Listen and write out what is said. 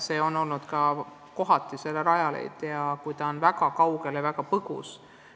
Nii ongi vahel kritiseeritud Rajaleidjat, kui ta on olnud väga kaugel ja väga põgusalt aidanud.